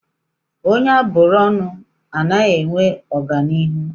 Onye a bụrụ ọnụ ana-enwe ọganihu?